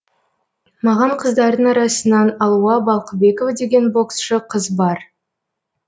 маған қыздардың арасынан алуа балқыбекова деген боксшы қыз бар